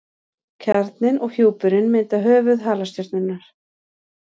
Kjarninn og hjúpurinn mynda höfuð halastjörnunnar.